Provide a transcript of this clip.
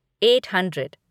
eight hundred